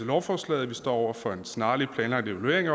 lovforslaget at vi står over for en snarlig planlagt evaluering